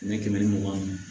Kɛmɛ kɛmɛ ni mugan ma